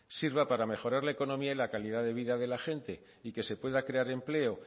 sirva para mejorar la economía y la calidad de vida de la gente y que se pueda crear empleo